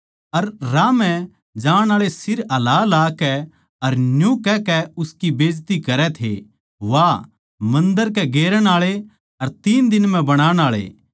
अर राह म्ह जाण आळे सिर हलाहल्लाकै अर न्यू कहकै उसकी बेजती करै थे वाह मन्दर के गेरण आळे अर तीन दिन म्ह बनाण आळे